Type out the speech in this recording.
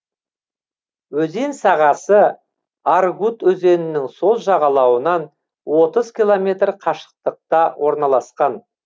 өзен сағасы аргут өзенінің сол жағалауынан отыз километр қашықтықта орналасқан